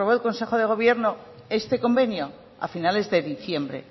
el consejo de gobierno este convenio a finales de diciembre